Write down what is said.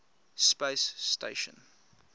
space station